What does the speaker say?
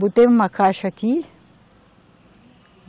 Botei uma caixa aqui.